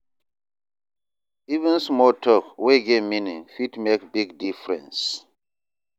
Even small tok wey get meaning fit make big difference.